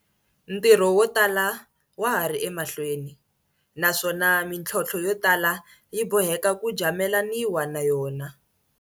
Ntirho wo tala wa ha ri emahlweni, naswona mitlhontlho yo tala yi bo heka ku jamelaniwa na yona.